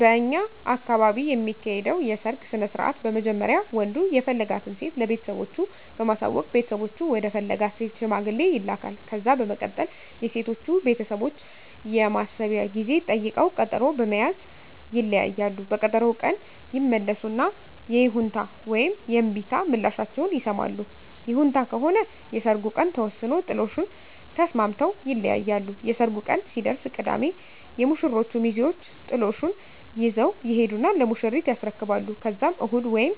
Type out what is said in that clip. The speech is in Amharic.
በእኛ አካባቢ የሚካሄደዉ የሰርግ ስነስርአት በመጀመሪያ ወንዱ የፈለጋትን ሴት ለቤተሰቦቹ በማሳወቅ ቤተሰቦቹ ወደ ፈለጋት ሴት ሽማግሌ ይላካል። ከዛ በመቀጠል የሴቶቹ ቤተሰቦች የማሰቢያ ጊዜ ጠይቀዉ ቀጠሮ በመያዝ ይለያያሉ። በቀጠሮዉ ቀን ይመለሱና የይሁንታ ወይም የእምቢታ ምላሻቸዉን ይሰማሉ። ይሁንታ ከሆነ የሰርጉ ቀን ተወስኖ ጥሎሹን ተስማምተዉ ይለያያሉ። የሰርጉ ቀን ሲደርስ ቅዳሜ የሙሽሮቹ ሚዜወች ጥሎሹን ይዘዉ ይሄዱና ለሙሽሪት ያስረክባሉ ከዛም እሁድ ወይም